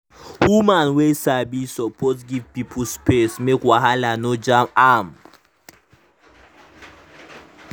woman wey sabi suppose dey give pipo space make wahala no jam am.